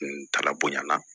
Ntala bonɲana